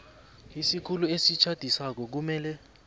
isikhulu esitjhadisako kumele